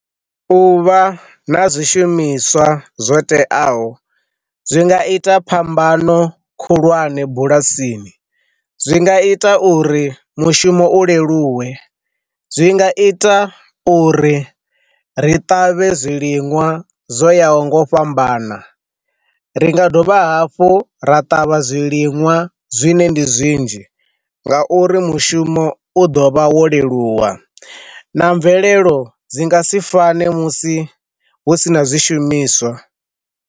U vha na zwishumiswa zwo teaho zwi nga ita phambano khulwane bulasini zwi nga ita uri mushumo u leluwe, zwi nga ita uri ri ṱavhe zwiliṅwa zwo ya ho ngo fhambana, ri nga dovha hafhu ra ṱavha zwiliṅwa zwine ndi zwinzhi nga uri mushumo u ḓo vha wo leluwa na mvelelo dzi nga si fane musi hu si na zwishumiswa.